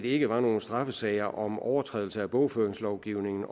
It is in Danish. ikke var nogen straffesager om overtrædelse af bogføringslovgivningen